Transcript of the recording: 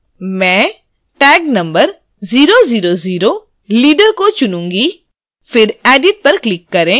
मैं tag number number 000 leader को चुनूँगी